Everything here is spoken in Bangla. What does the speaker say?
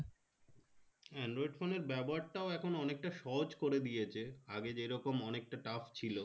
হ্যাঁ android phone এর ব্যবহারটাও এখন অনেকটা সহজ করে দিয়েছে আগে যেরকম অনেকটা tough ছিল